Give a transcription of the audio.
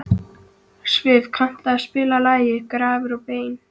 Siv, kanntu að spila lagið „Grafir og bein“?